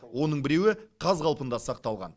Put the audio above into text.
оның біреуі қаз қалпында сақталған